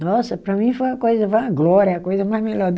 Nossa, para mim foi uma coisa, foi uma glória, uma coisa mais melhor do